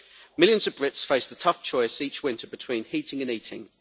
Millions of Brits face the tough choice each winter between heating and eating.